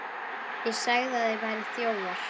ÉG SAGÐI AÐ ÞIÐ VÆRUÐ ÞJÓFAR.